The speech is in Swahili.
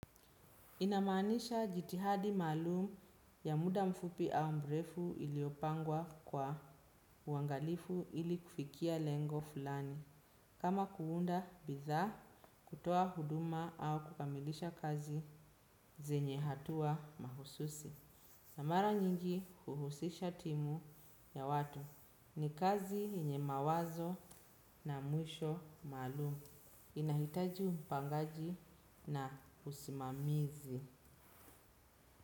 Inamaanisha jitihadi maalum ya muda mfupi au mrefu iliopangwa kwa uangalifu ili kufikia lengo fulani. Kama kuunda, bidhaa, kutoa huduma au kukamilisha kazi zenye hatua mahususi. Na mara nyingi huhusisha timu ya watu. Ni kazi yenye mawazo na mwisho maalum. Inahitaji mpangaji na usimamizi.